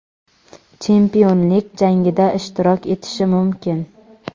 chempionlik jangida ishtirok etishi mumkin.